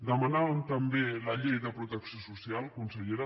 demanàvem també la llei de protecció social consellera